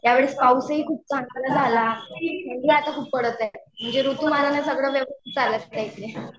यावेळी पाऊसही खूप चांगला झाला. थंडी आता खूप पडत आहे. म्हणजे ऋतुमानाने सगळ व्यवस्थित चालत आहे.